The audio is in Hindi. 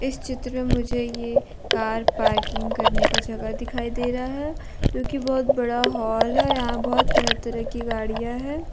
इस चित्र में ये मुझे कार पार्किंग करने का जगह दिखाई दे रहा है जो की बहुत बड़ा हाल है यहां बहुत तरह तरह की गाड़ियां है।